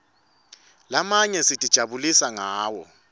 lamanye sitijabulisa ngawo